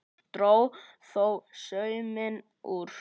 Dró þó sauminn úr.